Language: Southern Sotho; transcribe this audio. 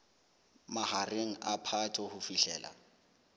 mahareng a phato ho fihlela